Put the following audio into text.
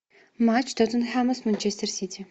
матч тоттенхэма с манчестер сити